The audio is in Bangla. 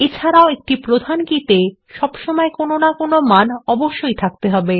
এছাড়াও একটি প্রধান কীতে সবসময় কোনো মান থাকতে হবে